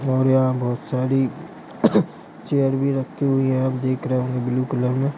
और यह बहोत सारी चेयर भी रखी हुई है आप देख रहे होंगे बालू कलर में।